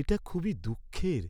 এটা খুবই দুঃখের